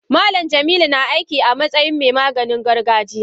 Malam jamilu na aiki amatsayin me Maganin gargajiya.